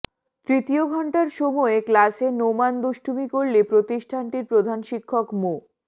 তৃতীয় ঘণ্টার সময় ক্লাসে নোমান দুষ্টুমি করলে প্রতিষ্ঠানটির প্রধান শিক্ষক মো